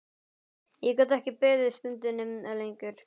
Ég gat ekki beðið stundinni lengur.